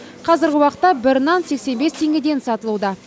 қазіргі уақытта бір нан сексен бес теңгеден сатылуда